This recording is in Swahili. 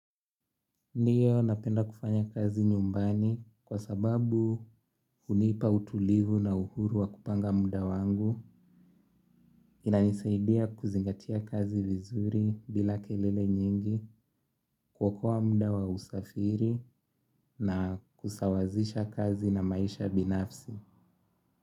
Ndiyo napenda kufanya kazi nyumbani kwa sababu hunipa utulivu na uhuru wa kupanga muda wangu inanisaidia kuzingatia kazi vizuri bila kelele nyingi kuokoa muda wa usafiri na kusawazisha kazi na maisha binafsi.